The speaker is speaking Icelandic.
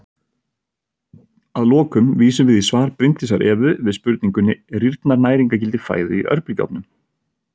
Að lokum vísum við í svar Bryndísar Evu við spurningunni Rýrnar næringargildi fæðu í örbylgjuofnum?